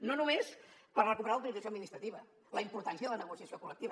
no només per recuperar l’autorització administrativa la importància de la negociació collectiva